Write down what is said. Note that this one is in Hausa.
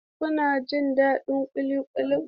Kuna jin daɗin cin ƙuli ƙuli?